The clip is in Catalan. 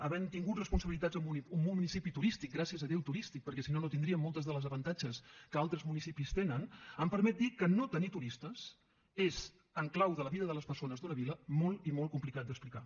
havent tingut responsabilitats en un municipi turístic gràcies a déu turístic perquè si no no tindríem molts dels avantatges que altres municipis tenen em permet dir que no tenir turistes és en clau de la vida de les persones d’una vila molt i molt complicat d’explicar